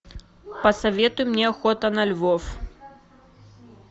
посоветуй мне охота на львов